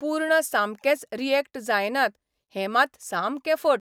पूर्ण सामकेच रियॅक्ट जायनात हें मात सामकें फट.